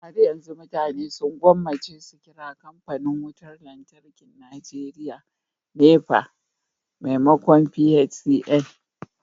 har yanzu mutane sun gwammace su kira kamfanin wutar lantarkin Najeriya NEPA maimakon PHCN